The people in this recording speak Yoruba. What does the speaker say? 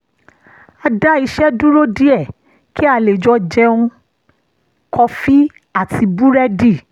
a dá iṣẹ́ dúró díẹ̀ kí a lè jọ jẹun kọfí àti búrẹ́dì